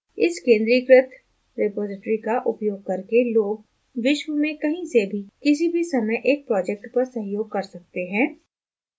इस केंद्रीकृत रिपॉज़िटरी का उपयोग करके लोग विश्व में कहीं से भी किसी भी समय एक project पर सहयोग कर सकते हैं